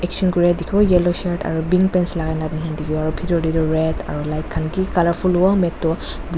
sion kuriya dikhibo yellow shirt aru pink dress lagai na dikhibo aru bithor teh toh red aru light khan ki colourful warm at toh--